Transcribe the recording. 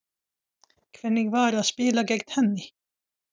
Hvernig var að spila gegn henni?